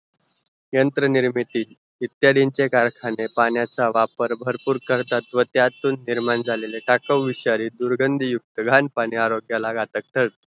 यंत्र निर्मिती इत्यादींचे कारखाने पाण्याचा वापर भरपूर करतात व त्यातून निर्माण झालेले टाकावं विषारी दुर्गंधी युक्त घाण पाणी आरोयाला घातक ठरते